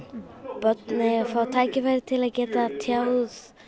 börn eiga að fá tækifæri til að tjá